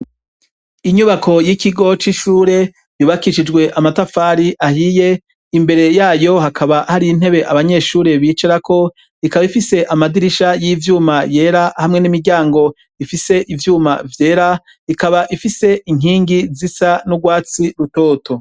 Inyubako y'ikigo c'ishure yubakishijwe amatafari ahiye, imbere yayo hakaba har'intebe abanyeshure bicarako ikaba ifise amadirisha y'ivyuma yera hamwe n'imiryango ifise ivyuma vyera ikaba ifise inkingi zisa n'urwatsi rutoto.